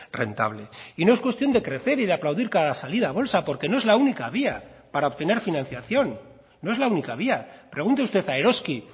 rentable y no es cuestión de crecer y de aplaudir cada salida a bolsa porque no es la única vía para obtener financiación no es la única vía pregunte usted a eroski